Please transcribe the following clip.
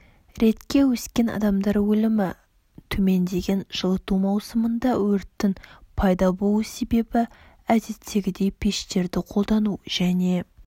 ретке өскен адамдар өлімі төмендеген жылыту маусымында өрттің пайда болу себебі әдеттегідей пештерді қолдану және